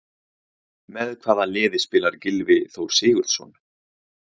Með hvaða liði spilar Gylfi Þór Sigurðsson?